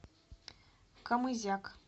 камызяк